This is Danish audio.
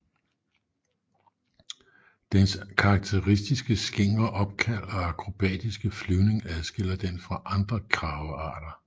Dens karakteristiske skingre opkald og akrobatiske flyvning adskiller den fra andre kragearter